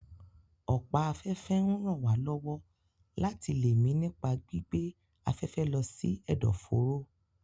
Ọ̀pá afẹ́fẹ́ ń ràn wá lọ́wọ́ láti lè mí nípa gbígbé afẹ́fẹ́ lọ sí ẹ̀dọ̀ fóró